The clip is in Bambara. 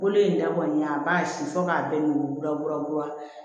Bolo in da kɔni a b'a si fo k'a bɛɛ nuguya kura